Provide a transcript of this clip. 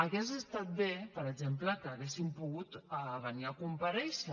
hauria estat bé per exemple que haguessin pogut venir a comparèixer